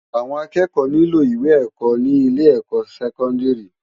Awòn àkëkò niló iwé èkò ni ilé èkò sèkòndári